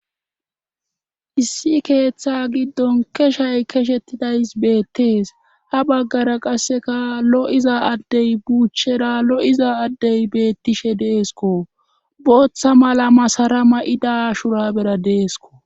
Issi keeththa giddon keshay keshettidays beettees ha baggara qasseka lo7iza addey buuchchera lo7iza addey beettishe deesko booththa mala masara ma7ida shura bera deesko